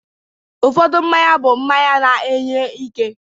Ụfọdụ mmanya bụ mmanya na-enye ike